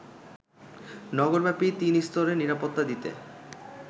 নগরব্যাপী তিনস্তরের নিরাপত্তা দিতে